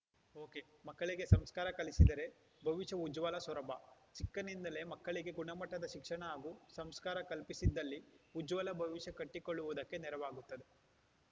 ಒಕೆಮಕ್ಕಳಿಗೆ ಸಂಸ್ಕಾರ ಕಲಿಸಿದರೆ ಭವಿಷ್ಯ ಉಜ್ವಲ ಸೊರಬ ಚಿಕ್ಕಂದಿನಲ್ಲಿಯೇ ಮಕ್ಕಳಿಗೆ ಗುಣಮಟ್ಟದ ಶಿಕ್ಷಣ ಹಾಗೂ ಸಂಸ್ಕಾರ ಕಲ್ಪಿಸಿದ್ದಲ್ಲಿ ಉಜ್ವಲ ಭವಿಷ್ಯ ಕಟ್ಟಿಕೊಳ್ಳುವುದಕ್ಕೆ ನೆರವಾಗುತ್ತದೆ